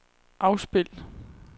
afspil